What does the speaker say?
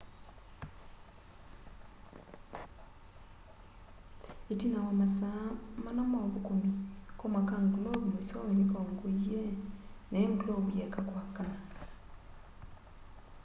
itina wa masaa maana ma uthukumi koma ka ngulovu mwisowe nikaunguie na i ngulovu yaeka kwakana